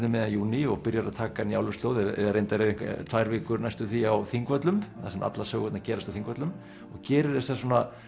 miðjan júní og byrjar að taka Njáluslóðir eða reyndar er tvær vikur næstum því á Þingvöllum þar sem allar sögurnar gerast á Þingvöllum og gerir þessa